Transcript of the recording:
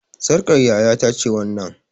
Sarƙar yaya ta ce wannan